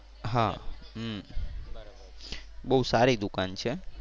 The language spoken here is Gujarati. બહુ સારી દુકાન છે.